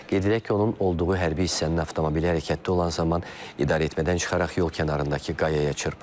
Qeyd edək ki, onun olduğu hərbi hissənin avtomobili hərəkətdə olan zaman idarəetmədən çıxaraq yol kənarındakı qayaya çırpılıb.